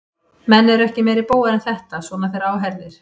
Menn eru ekki meiri bógar en þetta, svona þegar á herðir.